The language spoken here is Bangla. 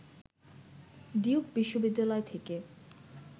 ডিউক বিশ্ববিদ্যালয় থেকে